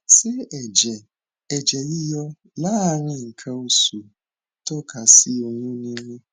ṣé ẹjẹ ẹjẹ yíyọ lááàrín nǹkan oṣù ń tọka sí oyún níní